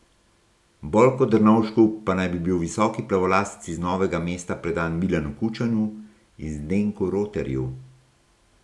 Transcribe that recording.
Bolj kot Drnovšku pa naj bi bil visoki plavolasec iz Novega mesta predan Milanu Kučanu in Zdenku Roterju.